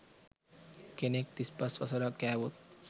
කෙනෙක් තිස්පස් වසරක් කෑවොත්